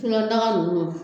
wusulandaga ninnu